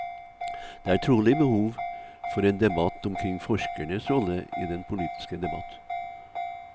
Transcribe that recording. Det er trolig behov for en debatt omkring forskernes rolle i den politiske debatt.